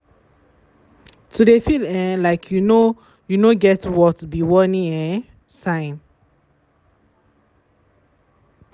to de feel um like you no you no get worth be warning um sign.